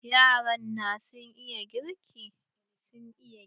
Yara na sun iya girki.